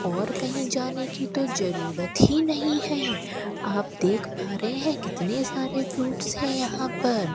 और कही जाने की तो जरूरत ही नहीं है आप देख पा रहे है कितने सारे फ्रूट्स है यहां पर --